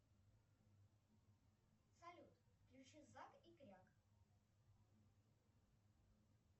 салют включи зак и кряк